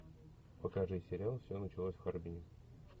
покажи сериал все началось в харбине